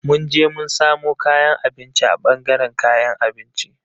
Mun je mun samo kayan abinci a ɓangaren kayan abinci.